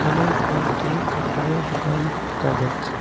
একানে কয়েকটি কাপড়ের দোকান দেখা যাচ্ছে।